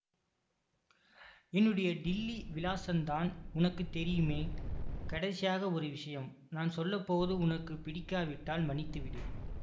என்னுடைய டில்லி விலாசந்தான் உனக்கு தெரியுமே கடைசியாக ஒரு விஷயம் நான் சொல்லப்போவது உனக்கு பிடிக்காவிட்டால் மன்னித்துவிடு